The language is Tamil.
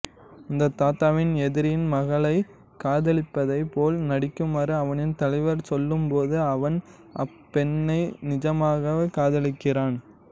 அந்த தாதாவின் எதிரியின் மகளைக் காதலிப்பதைப் போல் நடிக்குமாறு அவனின் தலைவர் சொல்லும்போது அவன் அப்பெண்ணை நிஜமாகவே காதலிக்கிறான்